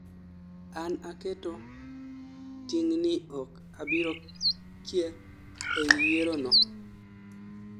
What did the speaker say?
an aketo ting' ni ok abiro kier ei yiero no